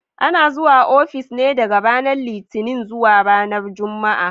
Ana zuwa ofis ne daga ranar Litinin zuwa ranar Juma'a.